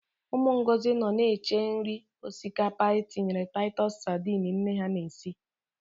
Ụmụ Ngozi nọ na-eche nri osikapa e tinyere Taịtus sadini nne ha na-esi.